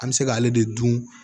An bɛ se k'ale de dun